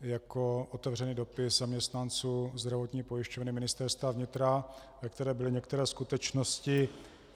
jako otevřený dopis zaměstnanců Zdravotní pojišťovny Ministerstva vnitra, ve kterém byly některé skutečnosti.